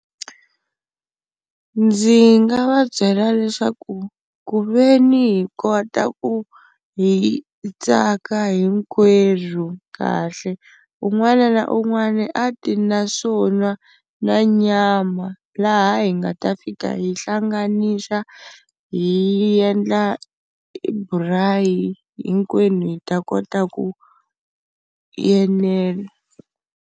Ndzi nga va byela leswaku ku ve ni hi kota ku hi tsaka hinkwerhu kahle, un'wana na un'wana a ti na swo nwa na nyama laha hi nga ta fika hi hlanganisa hi endla braai hinkwenu hi ta kota ku enela.